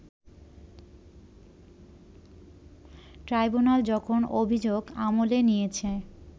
tribunal যখন অভিযোগ আমলে নিয়েছে